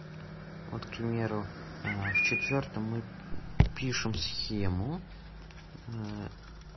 вот к примеру а в четвёртом мы пишем схему